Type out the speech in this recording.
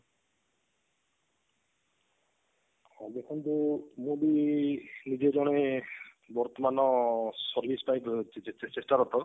ଦେଖନ୍ତୁ ଯଦି ନିଜେ ଜଣେ ବର୍ତମାନ service ପାଇଁ ଯ ଚେଷ୍ଟାରତ